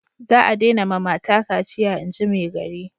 Za a dena ma mata kaciya inji maigari